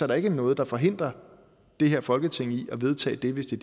der ikke noget der forhindrer det her folketing i at vedtage det hvis det